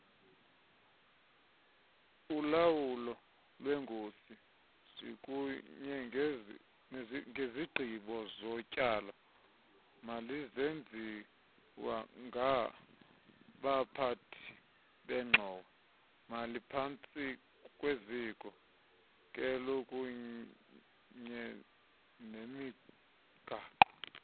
ulawulolwengozikunyenezigqibozotyalo malizenziwangabaphathibengxowa maliphantsikwezikhokelokunyenemigaqo